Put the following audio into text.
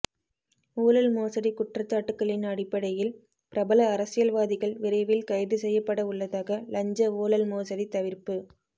ஊழல் மோசடி குற்றச்சாட்டுக்களின் அடிப்படையில் பிரபல அரசியல்வாதிகள் விரைவில் கைது செய்யப்பட உள்ளதாக லஞ்ச ஊழல் மோசடித் தவிர்ப்பு